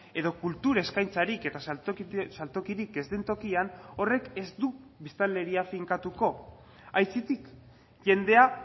edo kultur eskaintzarik eta saltokirik ez den tokian horrek ez du biztanleria finkatuko aitzitik jendea